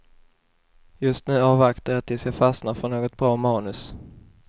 Just nu avvaktar jag tills jag fastnar för något bra manus.